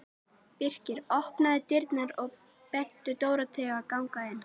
Birkir opnaði dyrnar og benti Dóru að ganga inn.